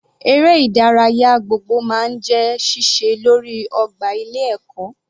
Eré ìdárayá gbogbo máa ń jẹ́ síse lórí ọgbà ilé ẹ̀kọ́.